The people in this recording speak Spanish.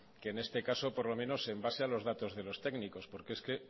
que en este caso por lo menos en base a los datos de los técnicos porque es que